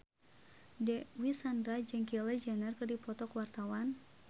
Dewi Sandra jeung Kylie Jenner keur dipoto ku wartawan